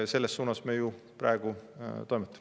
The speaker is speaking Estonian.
Selles suunas me ju praegu toimetame.